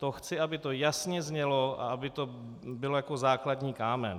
To chci, aby to jasně znělo a aby to bylo jako základní kámen.